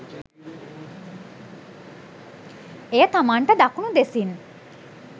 එය තමන්ට දකුණු දෙසින්